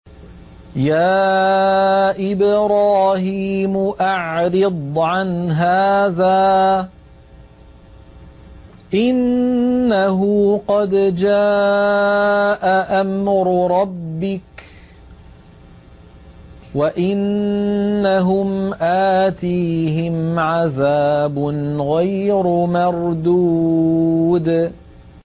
يَا إِبْرَاهِيمُ أَعْرِضْ عَنْ هَٰذَا ۖ إِنَّهُ قَدْ جَاءَ أَمْرُ رَبِّكَ ۖ وَإِنَّهُمْ آتِيهِمْ عَذَابٌ غَيْرُ مَرْدُودٍ